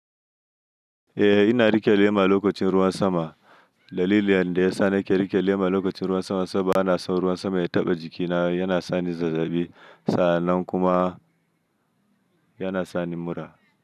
Eh ina riƙe lema lokacin ruwan sama. Dalilin da ya sa na ke riƙe lema lokacin ruwan sama saboda bana son ruwan sama ya taɓa jikina. Yana sa ni zazzabi sa'anan kuma yana sa ni mura.